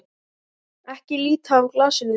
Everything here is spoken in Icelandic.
Ekki líta af glasinu þínu.